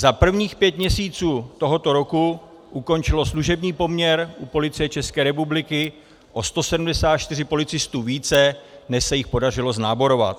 Za prvních pět měsíců tohoto roku ukončilo služební poměr u Policie České republiky o 174 policistů více, než se jich podařilo znáborovat.